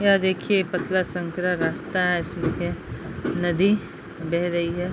यह देखिए पतला संकरा रास्ता है इस पे नदी बह रही है।